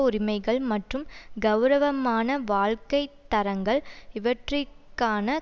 உரிமைகள் மற்றும் கெளரவமான வாழ்க்கை தரங்கள் இவற்றிற்கான